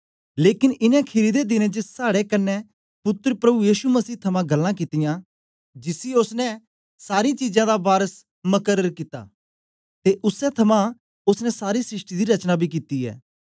लेकन इनें खीरी दे दिनें च साड़े कन्ने पुत्तर प्रभु यीशु मसही थमां गल्लां कित्तियां जिसी ओसने सारीं चीजां दा वारस मकर्र कित्ता ते उसै थमां ओसने सारी सृष्टि दी रचना बी कित्ती ऐ